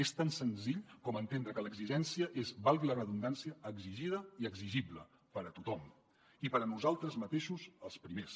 és tan senzill com entendre que l’exigència és valgui la redundància exigida i exigible per a tothom i per a nosaltres mateixos els primers